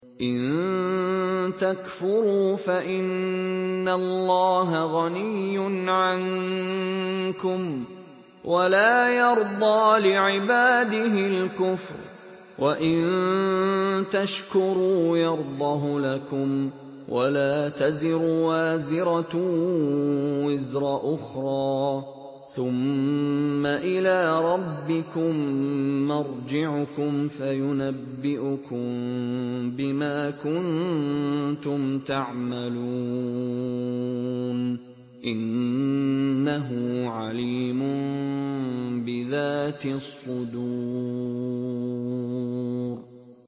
إِن تَكْفُرُوا فَإِنَّ اللَّهَ غَنِيٌّ عَنكُمْ ۖ وَلَا يَرْضَىٰ لِعِبَادِهِ الْكُفْرَ ۖ وَإِن تَشْكُرُوا يَرْضَهُ لَكُمْ ۗ وَلَا تَزِرُ وَازِرَةٌ وِزْرَ أُخْرَىٰ ۗ ثُمَّ إِلَىٰ رَبِّكُم مَّرْجِعُكُمْ فَيُنَبِّئُكُم بِمَا كُنتُمْ تَعْمَلُونَ ۚ إِنَّهُ عَلِيمٌ بِذَاتِ الصُّدُورِ